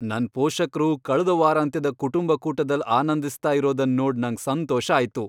ನನ್ ಪೋಷಕ್ರು ಕಳ್ದ ವಾರಾಂತ್ಯದ ಕುಟುಂಬ ಕೂಟದಲ್ ಆನಂದಿಸ್ತ ಇರೋದನ್ ನೋಡ್ ನಂಗ್ ಸಂತೋಷ ಆಯ್ತು.